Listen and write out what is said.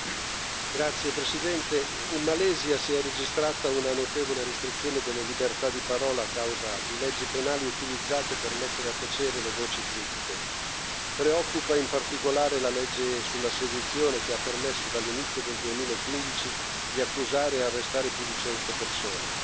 Signor Presidente, onorevoli colleghi, in Malesia si è registrata una notevole restrizione delle libertà di parola a causa di leggi penali utilizzate per mettere a tacere le voci critiche. Preoccupa in particolare la legge sulla sedizione, che ha permesso dall'inizio del 2015 di accusare e arrestare più di cento persone.